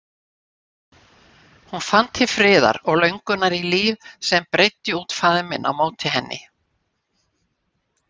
Hún fann til friðar og löngunar í líf sem breiddi út faðminn á móti henni.